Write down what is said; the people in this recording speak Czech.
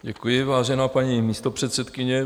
Děkuji, vážená paní místopředsedkyně.